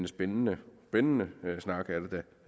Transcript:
spændende spændende snak er det